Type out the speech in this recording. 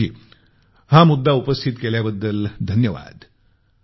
अंशुल जी हा मुद्दा उपस्थित केल्याबद्दल धन्यवाद